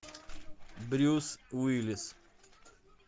брюс уиллис